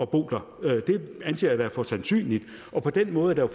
bo der det anser jeg da for sandsynligt og på den måde er